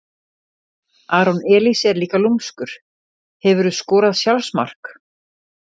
aron elís er líka lúmskur Hefurðu skorað sjálfsmark?